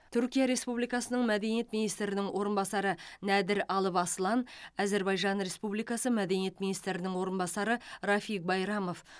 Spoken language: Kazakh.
түркия республикасының мәдениет министрінің орынбасары нәдір алып аслан әзербайжан республикасы мәдениет министрінің орынбасары рафиг байрамов